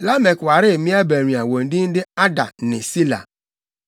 Lamek waree mmea baanu a wɔn din de Ada ne Sila.